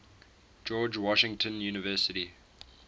george washington university